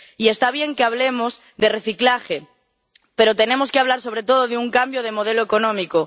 Y está bien que hablemos de reciclaje, pero tenemos que hablar sobre todo de un cambio de modelo económico.